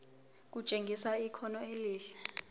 kutshengisa ikhono elihle